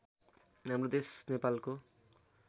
हाम्रो देश नेपालको